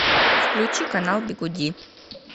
включи канал бигуди